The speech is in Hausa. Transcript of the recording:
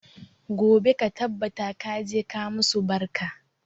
Gobe ka tabbata ka je ka musu barka!